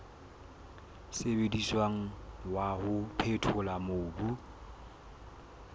sebediswang wa ho phethola mobu